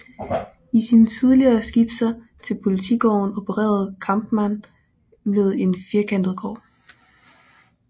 I sine tidlige skitser til Politigården opererede Kampmann med en firkantet gård